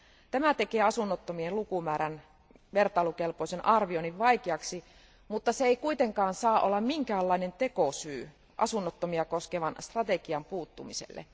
Tämä tekee asunnottomien lukumäärän vertailukelpoisen arvioinnin vaikeaksi, mutta se ei kuitenkaan saa olla minkäänlainen tekosyy asunnottomia koskevan strategian puuttumiselle.